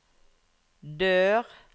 dør